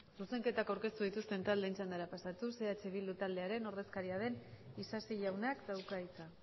zuzenketak aurkeztu dituzten taldeen txandara pasatuz eh bildu taldearen ordezkaria den isasi jaunak dauka hitza